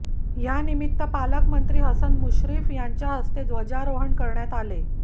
यानिमित्त पालकमंत्री हसन मुश्रीफ यांच्या हस्ते ध्वजारोहण करण्यात आले